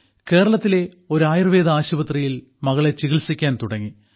കേരളത്തിലെ ഒരു ആയുർവേദ ആശുപത്രിയിൽ മകളെ ചികിത്സിക്കാൻ തുടങ്ങി